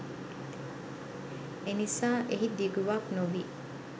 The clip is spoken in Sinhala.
එනිසා එහි දිගුවක් නොවී